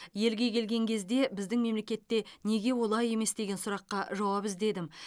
елге келген кезде біздің мемлекетте неге олай емес деген сұраққа жауап іздедім